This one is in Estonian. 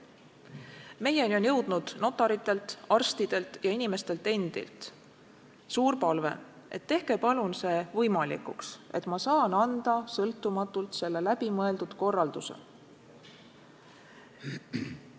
Meieni on jõudnud notaritelt, arstidelt ja inimestelt endilt suur palve, et tehke palun see võimalikuks, et inimene saab sõltumatult anda selle läbimõeldud korralduse.